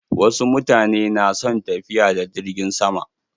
Wasu mutane na son tafiya da jirgin sama.